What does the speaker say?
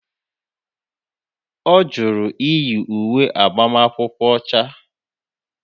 Ọ jụrụ iyi uwe agbamakwụkwọ ọcha.